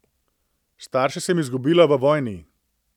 Starše sem izgubila v vojni.